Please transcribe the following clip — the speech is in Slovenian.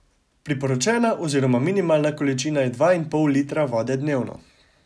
Priporočena oziroma minimalna količina je dva in pol litra vode dnevno.